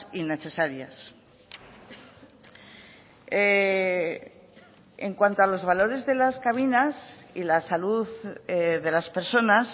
innecesarias en cuanto a los valores de las cabinas y la salud de las personas